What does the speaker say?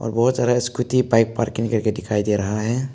और बहोत सारा स्कूटी बाइक पार्किंग करके दिखाई दे रहा है।